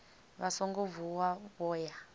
vha songo vuwa vho ya